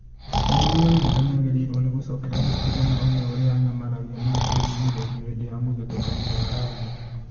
Mariru Waithera nĩagĩrĩirwo nĩ gũcokera historĩ na one ũrĩa anyamaragio na akahinyĩrĩrio hĩndĩ ya mũthutũkanĩo wa rangi